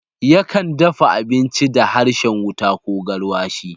Yakan dafa abinci da harshen wuta ko garwashi.